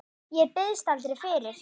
Ég biðst aldrei fyrir.